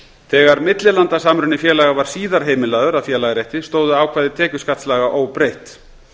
þegar millilandasamruni félaga var síðar heimilaður að félagarétti stóðu ákvæði tekjuskattslaga óbreytt